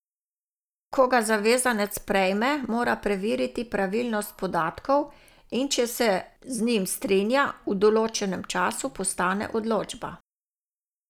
Ko ga zavezanec prejme, mora preveriti pravilnost podatkov, in če se z njim strinja, v določenem času postane odločba.